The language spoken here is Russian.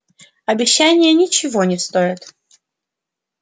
обещания ничего не стоят